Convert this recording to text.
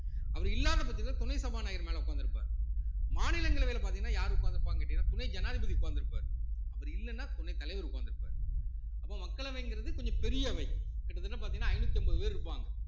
அவர் இல்லாத பட்சத்துல துணை சபாநாயகர் மேல உட்கார்ந்திருப்பார் மாநிலங்களவையில பார்த்தீங்கன்னா யாரு உட்கார்ந்திருப்பாங்கன்னு கேட்டீங்கன்னா துணை ஜனாதிபதி உட்கார்ந்து இருப்பாரு அவர் இல்லைன்னா துணை தலைவர் உட்கார்ந்திருப்பாரு அப்போ மக்களவைங்கிறது கொஞ்சம் பெரிய அவை கிட்டத்தட்ட பார்த்தீங்கன்னா ஐந்நூத்தி அம்பது பேர் இருப்பாங்க